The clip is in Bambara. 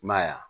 I m'a ye wa